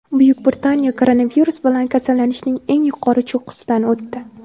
Buyuk Britaniya koronavirus bilan kasallanishning eng yuqori cho‘qqisidan o‘tdi.